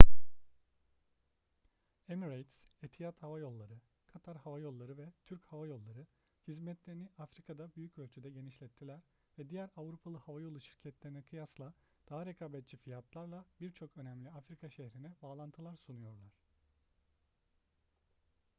emirates etihad hava yolları katar hava yolları ve türk hava yolları hizmetlerini afrika'da büyük ölçüde genişlettiler ve diğer avrupalı havayolu şirketlerine kıyasla daha rekabetçi fiyatlarla birçok önemli afrika şehrine bağlantılar sunuyorlar